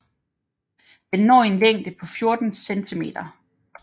Den når en længde på 14 centimeter